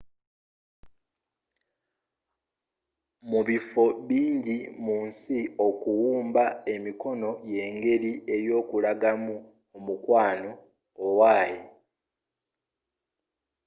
mu bifo bingi mu nsi okuwuba emikono yengeri y’okulagamu omukwano owaye